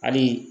Hali